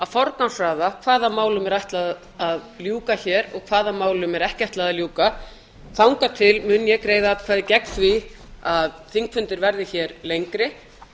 forgangsraða hvaða málum er ætlað að ljúka hér og hvaða málum er ekki ætlað að ljúka þangað til mun ég greiða atkvæði gegn því að þingfundir verði hér lengri